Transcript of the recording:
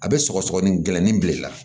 A bɛ sɔgɔsɔgɔnin gɛlɛnin bil'i la